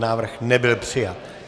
Návrh nebyl přijat.